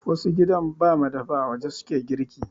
Wasu gidan ba madafa, a waje su ke girki.